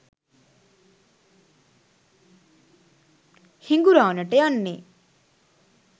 හිඟුරාණට යන්නෙ